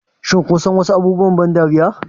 Shin kun san wasu abubuwan ban dariya?